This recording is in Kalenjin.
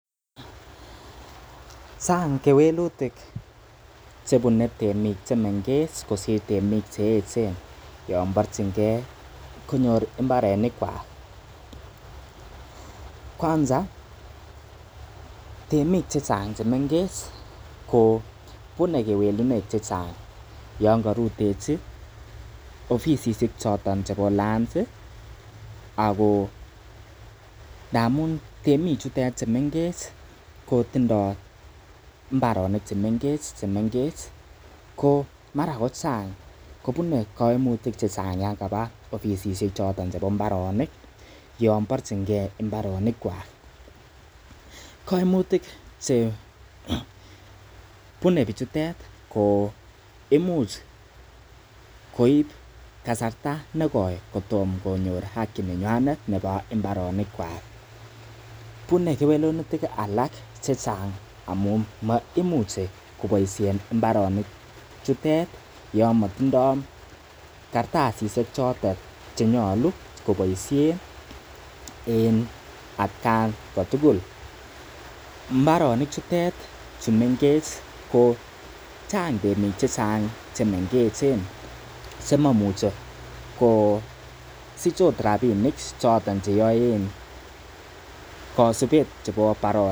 Chang kewelutik che bune temik che mengechen kosir temik che mengechen yon borchingei konyor mbrenik kwak. Kwanza temik che chang che mengech ko bune kewelinwek che chang yon korutechi ofisishek choton chebo lands ago ndamun temik cheutet che mengech ko tindoi mbaronik che mengech ko mara kochang kobune kaimutik che chang yan kaba ofisishek choton chebo mbarenik. Yon borchingei mbarenikwak. Kaimutik che bune bichutet ko imuch koib kasarta nekoi kotom konyor haki nenywanet nebo mbarenikwak bune kewelutik alak chechang amun maimuche koboiisien mbarenik chutet yon motindoi kartasishek choton che nyolu koboisien en atkan kotugul. Mbarenik chutet chu mengech ko chang temik che chang che mengech che mamuche kosich ot rabinik choton che yoen kosibet chebo baronok.